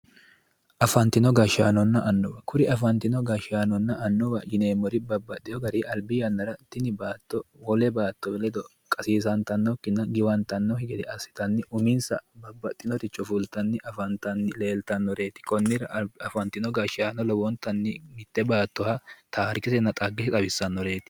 Afantinno gashshaanonna annuwa, kuri afantino gashshaanonna annuwu babbaxewo garinni tini baatto wole baatto ledo qassisattanokki woyi giwantanokki assittanni uminsanni babbaxinore fulittanni afantanni leellittanoreti konnira afantinori mite baattoha dhaggese xawisannoreti.